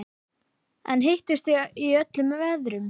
En hittist þið í öllum veðrum?